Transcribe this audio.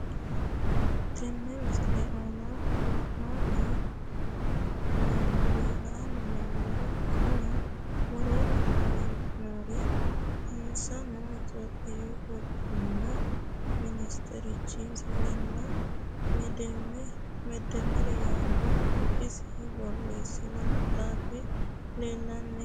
Tenne misile aana la'anni noomori konni woroonni nooreeri isinno ethiophiyu goboomu minisiterichi misilenna medemer yaanohu isi boreesino maxaafi leelanni nooe